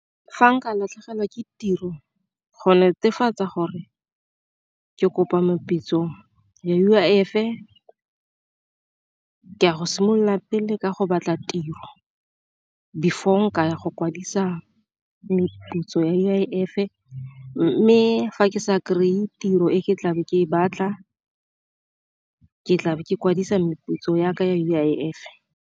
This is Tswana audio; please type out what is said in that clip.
Fa nka latlhegelwa ke tiro go netefatsa gore ke kopa meputso ya U_I_F, ke ya go simolola pele ka go batla tiro before ke ka ya go kwadisa meputso ya U_I_F. Mme fa ke sa kry-e tiro e ke tlabe ke e batla, ke tlabe ke kwadisa meputso ya ka ya U_I_F.